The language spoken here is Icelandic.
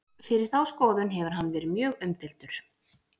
fyrir þá skoðun hefur hann verið mjög umdeildur